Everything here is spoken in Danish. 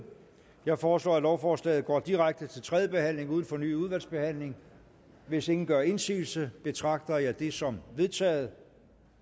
jeg foreslår at lovforslaget går direkte til tredje behandling uden fornyet udvalgsbehandling hvis ingen gør indsigelse betragter jeg det som vedtaget